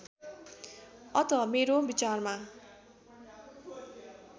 अत मेरो विचारमा